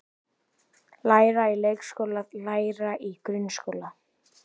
Læra í leikskóla Læra í grunnskóla